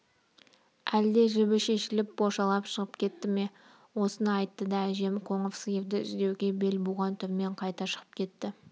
әлде жібі шешіліп бошалап шығып кетті ме осыны айтты да әжем қоңыр сиырды іздеуге бел буған түрмен қайта шығып кетті